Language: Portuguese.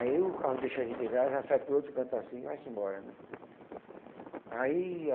Aí o carro deixa a gente lá, já sai para outro canto assim e vai-se embora, né? Aí